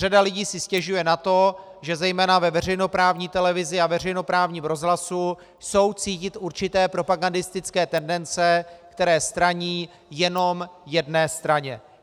Řada lidí si stěžuje na to, že zejména ve veřejnoprávní televizi a veřejnoprávním rozhlase jsou cítit určité propagandistické tendence, které straní jenom jedné straně.